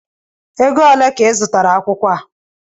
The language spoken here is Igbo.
Égo olé ka I zụtara akwụkwọ a?